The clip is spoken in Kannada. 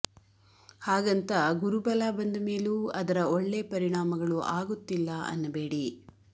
ಹಾಗಂತ ಗುರು ಬಲ ಬಂದ ಮೇಲೂ ಅದರ ಒಳ್ಳೆ ಪರಿಣಾಮಗಳು ಆಗುತ್ತಿಲ್ಲ ಅನ್ನಬೇಡಿ